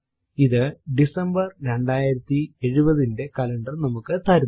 ഇത് ഡിസംബർ 2070 ന്റെ കലണ്ടർ നമുക്ക് തരുന്നു